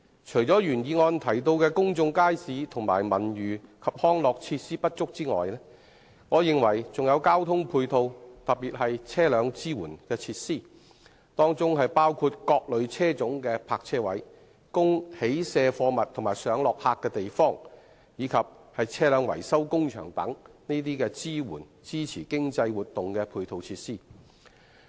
除了原議案中提到公眾街市和文娛及康樂設施不足外，我認為不足的還有交通配套，特別是車輛支援設施，包括各類車種的泊車位、供起卸貨物及上落客的地方，以及車輛維修工場等支持經濟活動的配套設施。